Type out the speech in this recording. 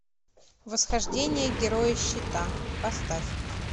восхождение героя щита поставь